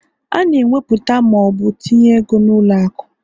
A na eweputa ma ọ bụ tinye ego n'ụlọ akụ